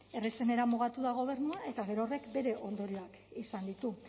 errazenera mugatu da gobernua eta gero horrek bere ondorioak izan ditu